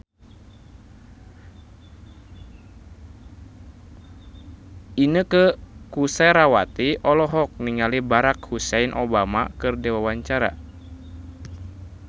Inneke Koesherawati olohok ningali Barack Hussein Obama keur diwawancara